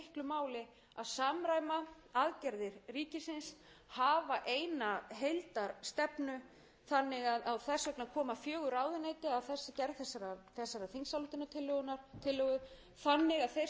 máli að samræma aðgerðir ríkisins hafa eina heildarstefnu þess vegna koma fjögur ráðuneyti að gerð þessarar þingsályktunartillögu þannig að þeir sem eru að starfa á þessu sviði